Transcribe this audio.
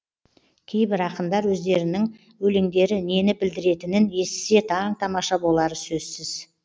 кейбір ақындар өздерінің өлеңдері нені білдіретінін естісе таң тамаша болары сөзсіз